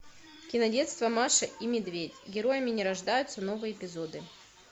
кинодетство маша и медведь героями не рождаются новые эпизоды